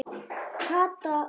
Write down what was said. Kata og